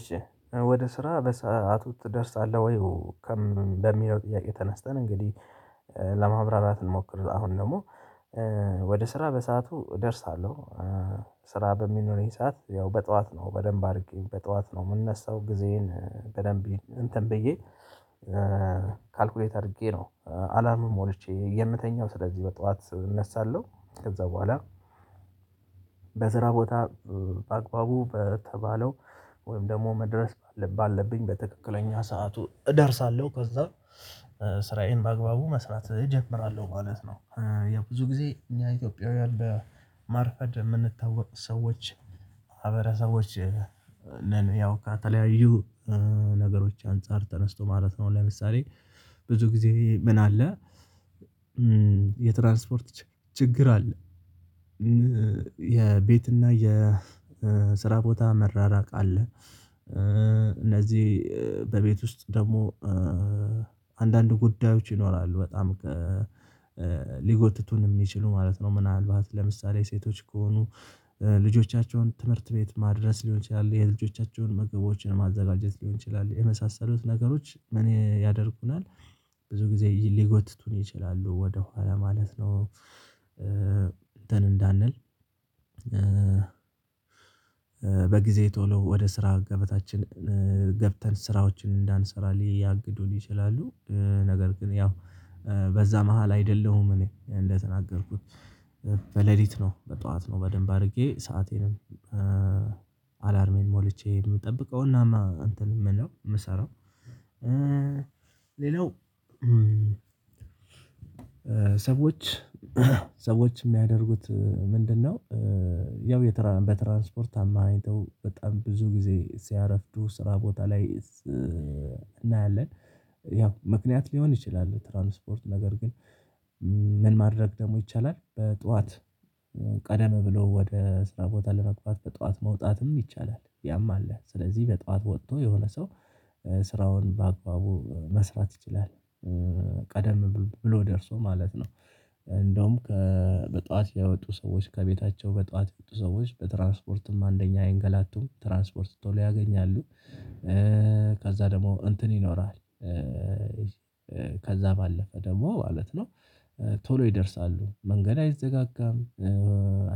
እሺ ወደ ስራ በሰአቱ ትደርሳለህ ወይ? በሚለው ጥያቄ ተነስተን እንግዲህ ለማብራራት እንሞክር። አሁን ደግሞ ወደ ስራ በሰአቱ እደርሳለሁ። ስራ በሚኖር ይሄ ሰዓት ያው በጠዋት ነው በደንብ አድርጌ በጠዋት ነው የምነሳው ጊዜዬን በደንብ እንትን ብዬ ካልኩሌት አድርጌ ነው። አላርም ሞልቼ የምተኛው ስለዚህ በጠዋት እነሳለሁ። ከዛ በኋላ በዘራ ቦታ በአግባቡ በተባለው ወይም ደግሞ መድረስ ባለብኝ በትክክለኛ ሰዓቱ እደርሳለሁ። ከዛ ስራዬን በአግባቡ መስራት እጀምራለሁ ማለት ነው። ያ ብዙ ጊዜ እኛ ኢትዮጵያውያን በማርፈድ የምንታወቅ ሰዎች ማህበረሰቦች ነን። ያው ከተለያዩ ነገሮች አንፃር ተነስቶ ማለት ነው። ለምሳሌ ብዙ ጊዜ ምን አለ? የትራንስፖርት ችግር አለ። የቤት እና የስራ ቦታ መራራቅ አለ። እነዚህ በቤት ውስጥ ደግሞ አንዳንድ ጉዳዮች ይኖራሉ። በጣም ሊጎትቱን የሚችሉ ማለት ነው። ምናልባት ለምሳሌ ሴቶች ከሆኑ ልጆቻቸውን ትምህርት ቤት ማድረስ ሊሆን ይችላል። የልጆቻቸውን ምግቦችን ለማዘጋጀት ሊሆን ይችላል። የመሳሰሉት ነገሮች ምን ያደርጉናል? ብዙ ጊዜ ሊጎትቱን ይችላሉ ወደ ኋላ ማለት ነው። እንትን እንዳንል በጊዜ ቶሎ ወደ ስራ ገበታችን ገብተን ስራዎችን እንዳንሰራ ሊያግዱን ይችላሉ። ነገር ግን ያው በዛ መሃል አይደለሁም እኔ እንደተናገርኩት በሌሊት ነው በጠዋት ነው በደንብ አድርጌ ሰአቴንም አላርሜን ሞልቼ የምጠብቀው እናማ እንትን የምለው የምሰራው። ሌላው ሰዎች ሰዎች የሚያደርጉት ምንድነው? ያው በትራንስፖርት አማሃይተው በጣም ብዙ ጊዜ ሲያረፍዱ ስራ ቦታ ላይ እናያለን። ያው ምክንያት ሊሆን ይችላል። ትራንስፖርት ነገር ግን ምን ማድረግ ደግሞ ይቻላል? በጠዋት ቀደም ብሎ ወደ ስራ ቦታ ለመግባት በጠዋት መውጣትም ይቻላል። ያማለ ስለዚህ በጧት ወጥቶ የሆነ ሰው ስራውን በአግባቡ መስራት ይችላል። ቀደም ብሎ ደርሶ ማለት ነው። እንደውም በጠዋት የወጡ ሰዎች ከቤታቸው በጧት ያወጡ ሰዎች በትራንስፖርትም አንደኛ አይንገላቱም ትራንስፖርት ተውሎ ሊያገኝ ያሉ። ከዛ ደግሞ እንትን ይኖራል። ከዛ ባለፈ ደግሞ ማለት ነው። ቶሎ ይደርሳሉ መንገድ አይዘጋጋም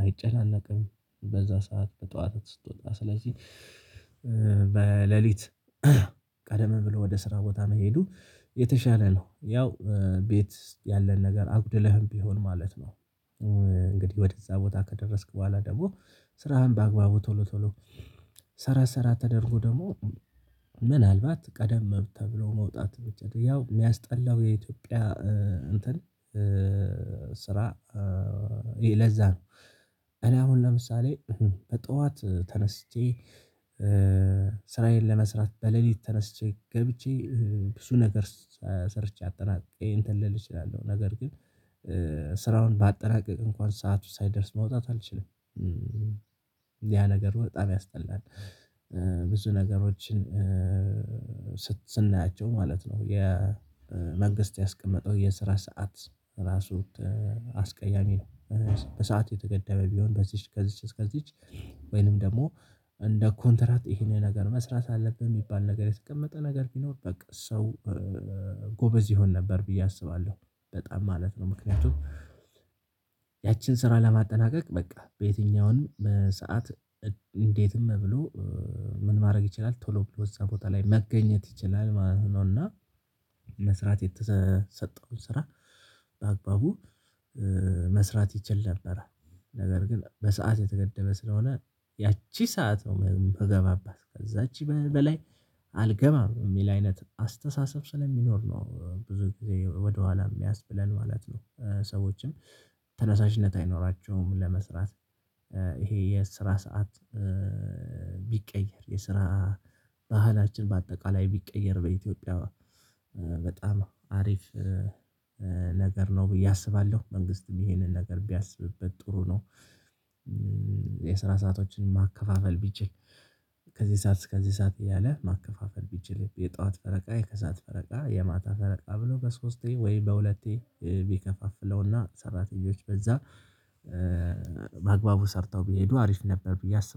አይጨናነቅም። በዛ ሰዓት ጠዋት ስትወጣ ስለዚህ በሌሊት ቀደም ብሎ ወደ ስራ ቦታ መሄዱ የተሻለ ነው። ያው ቤት ያለን ነገር አጉድለህም ቢሆን ማለት ነው። እንግዲህ ወደዛ ቦታ ከደረስክ በኋላ ደግሞ ስራህን በአግባቡ ቶሎ ቶሎ ሰራ ሰራ ተደርጎ ደግሞ ምናልባት ቀደም ተብሎ መውጣት ያው የሚያስጠላው የኢትዮጵያ እንትን ስራ ለዛ ነው። እኔ አሁን ለምሳሌ በጠዋት ተነስቼ ስራዬን ለመስራት በሌሊት ተነስቼ ገብቼ ብዙ ነገር ሰርቼ አጠናቅቄ እንትን ልል እችላለሁ። ነገር ግን ስራውን ባጠናቅቅ እንኳን ሰዓቱ ሳይደርስ መውጣት አልችልም። ያ ነገር በጣም ያስጠላል። ብዙ ነገሮችን ስናያቸው ማለት ነው የመንግስት ያስቀመጠው የስራ ሰዓት ራሱ አስቀያሚ ነው። በሰአት የተገደበ ቢሆን በዚች ከዚች እስከዚች ወይንም ደግሞ እንደ ኮንትራት ይሄንን ነገር መስራት አለብን የሚባል ነገር የተቀመጠ ነገር ቢኖር በቃ ሰው ጎበዝ ይሆን ነበር ብዬ አስባለሁ። በጣም ማለት ነው ምክንያቱም ያችን ስራ ለማጠናቀቅ በቃ በየትኛውም ሰዓት እንዴትም ብሎ ምን ማድረግ ይችላል ቶሎ ብሎ እዛ ቦታ ላይ መገኘት ይችላል ማለት ነው። እና መስራት የተሰጠውን ስራ በአግባቡ መስራት ይችል ነበር። ነገር ግን በሰአት የተገደበ ስለሆነ ያቺ ሰዓት ነው የምገባባት ከዛቺ በላይ አልገባም የሚል አይነት አስተሳሰብ ስለሚኖር ነው። ብዙ ጊዜ ወደኋላ የሚያስብለን ማለት ነው። ሰዎችም ተነሳሽነት አይኖራቸውም። ለመስራት ይሄ የስራ ሰዓት ቢቀየር የስራ ባህላችን በአጠቃላይ ቢቀየር እንዴ ኢትዮጵያ በጣም አሪፍ ነገር ነው ብዬ አስባለሁ። መንግስትም ይሄንን ነገር ቢያስብበት ጥሩ ነው። የስራ ሰአቶችን ማከፋፈል ቢችል ከዚህ ሰዓት እስከዚህ ሰዓት እያለ ማከፋፈል ቢችል የጧት ፈረቃ የከሳት ፈረቃ የማታ ፈረቃ ብሎ ከሶስቴ ወይ በሁለቴ ቢከፋፍለውና ሰራተኞች በዛ በአግባቡ ሰርተው ቢሄዱ አሪፍ ነበር። ቢያስቡ